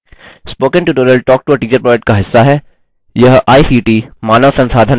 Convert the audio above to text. spoken tutorial talktoa teacher project का हिस्सा है